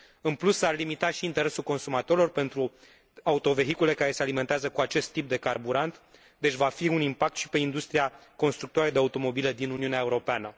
În plus, ar limita și interesul consumatorilor pentru autovehicule care se alimentează cu acest tip de carburant, deci va fi un impact și pe industria constructoare de automobile din Uniunea Europeană.